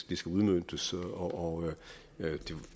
det skal udmøntes og